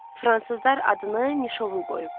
Fransızlar adını Mişovul qoyub.